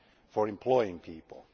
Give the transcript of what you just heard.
for employing people.